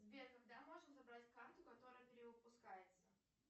сбер когда можно забрать карту которая перевыпускается